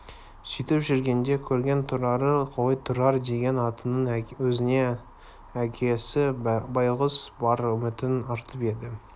сөйтіп жүргенде көрген тұрары ғой тұрар деген атының өзіне әке байғұс бар үмітін артып еді